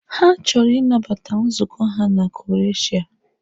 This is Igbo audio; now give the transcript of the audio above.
Ha chọrọ ịnabata nzukọ a na Croshia.